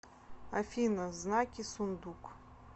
афина знаки сундук